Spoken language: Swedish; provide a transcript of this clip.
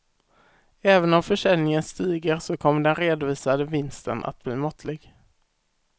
Även om försäljningen stiger så kommer den redovisade vinsten att bli måttlig.